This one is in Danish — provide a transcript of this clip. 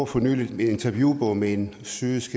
for nylig en interviewbog med en syrisk